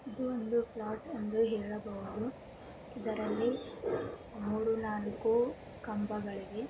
ಇದು ಒಂದು ಫ್ಲೋಟ್ ಎಂದು ಹೇಳಬಹುದು ಇದರಲ್ಲಿ ಮೂರೂ ನಾಲ್ಕು ಕಂಬಗಳಿವೆ.